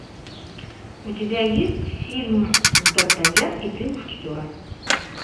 у тебя есть фильм дартаньян и три мушкетера